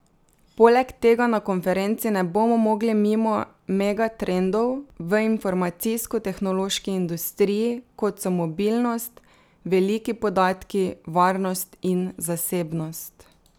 Poleg tega na konferenci ne bomo mogli mimo megatrendov v informacijsko tehnološki industriji, kot so mobilnost, veliki podatki, varnost in zasebnost.